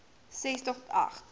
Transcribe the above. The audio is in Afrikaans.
ses tot agt